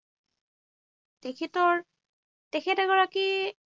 তেখেতৰ তেখেত এগৰাকী